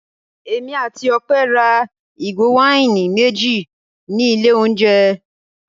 Èmi àti Ọpẹ́ ra ìgò wáìnì méjì ní ilé-oúnjẹ.